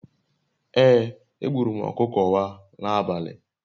Ee, egburu m okuko wa n'abali